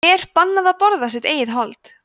er bannað að borða sitt eigið hold